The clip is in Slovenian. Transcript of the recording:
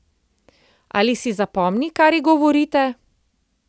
Ali si zapomni, kar ji govorite?